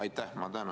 Aitäh!